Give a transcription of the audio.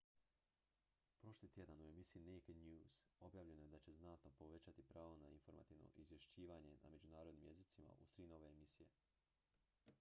prošli tjedan u emisiji naked news objavljeno je da će znatno povećati pravo na informativno izvješćivanje na međunarodnim jezicima uz tri nove emisije